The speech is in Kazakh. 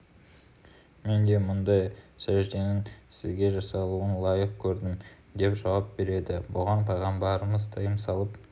мен де мұндай сәжденің сізге жасалуын лайық көрдім деп жауап береді бұған пайғамбарымыз тыйым салып